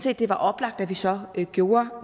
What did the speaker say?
at det var oplagt at vi så gjorde